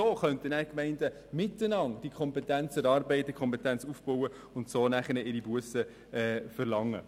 So könnten die Gemeinden miteinander die entsprechende Kompetenz aufbauen und dann ihre Bussen verlangen.